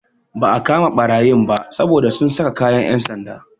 Ba a kama ɓarayin ba saboda sun saka kayan yan'sanda.